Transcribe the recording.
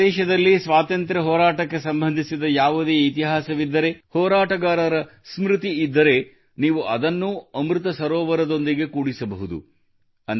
ನಿಮ್ಮ ಪ್ರದೇಶದಲ್ಲಿ ಸ್ವಾತಂತ್ರ್ಯ ಹೋರಾಟಕ್ಕೆ ಸಂಬಂಧಿಸಿದ ಯಾವುದೇ ಇತಿಹಾಸವಿದ್ದರೆ ಹೋರಾಟಗಾರರ ಸ್ಮೃತಿ ಇದ್ದರೆ ನೀವು ಅದನ್ನೂ ಅಮೃತ ಸರೋವರದೊಂದಿಗೆ ಕೂಡಿಸಬಹುದು